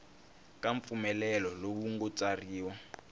ka mpfumelelo lowu nga tsariwa